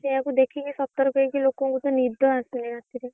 ସେଇଆକୁ ଦେଖିକି ସତର୍କ ହେଇକି ଲୋକଙ୍କୁ ତ ନିଦ ଆସୁନି ରାତିରେ।